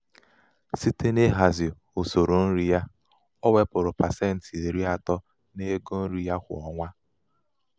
site n'ihazi usoro nri usoro nri ya o wepụrụ pasenti iri atọ n'ego nri ya kwa ọnwa